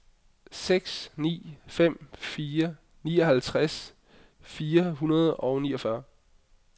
seks ni fem fire nioghalvtreds fire hundrede og niogfyrre